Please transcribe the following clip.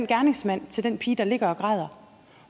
gerningsmanden til den pige der ligger og græder